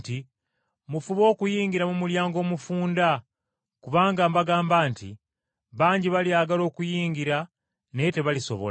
“Mufube okuyingira mu mulyango omufunda kubanga mbagamba nti, bangi balyagala okuyingira naye tebalisobola.